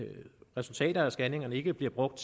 resultater af scanningerne ikke bliver brugt